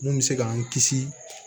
Mun bɛ se k'an kisi